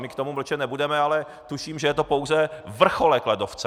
My k tomu mlčet nebudeme, ale tuším, že je to pouze vrcholek ledovce!